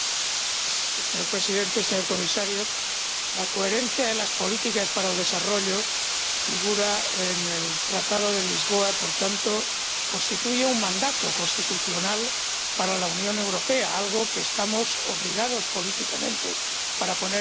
Señor Presidente, señor Comisario, la coherencia de las políticas en favor del desarrollo figura en el Tratado de Lisboa y, por tanto, constituye un mandato constitucional para la Unión Europea, algo que estamos obligados políticamente a poner en marcha.